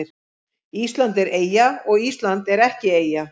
Ísland er eyja og Ísland er ekki eyja